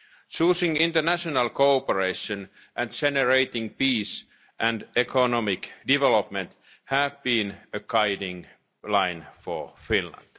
Choosing international cooperation and generating peace and economic development have been guiding threads for Finland.